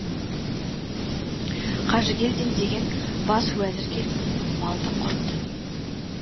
қажыгелдин деген бас уәзір келіп малды құрт